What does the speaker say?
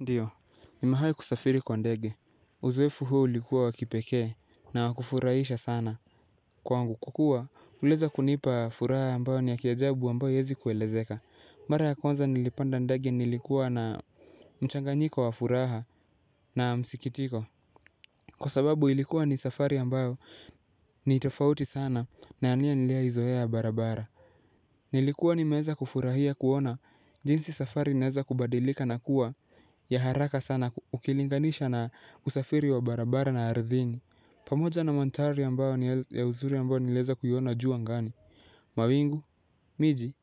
Ndio nimewai kusafiri kwa ndege uzoefu huu ulikuwa wa kipekee na wa kufurahisha sana. Kwangu, kukuwa uliweza kunipa furaha ambayo ni ya kiajabu ambayo haezi kuelezeka. Mara ya kwanza nilipanda ndege nilikuwa na mchanganyiko wafuraha na msikitiko. Kwa sababu ilikuwa ni safari ambayo nitofauti sana na ya nia niliya izoea ya barabara. Nilikuwa ni meanza kufurahia kuona jinsi safari inaeza kubadilika na kuwa ya haraka sana ukilinganisha na usafiri wa barabara na arthini. Pamoja na mantari a mbao ni ya uzuri a mbayo ni lieza kuiona juu a ngani. Mawingu, miji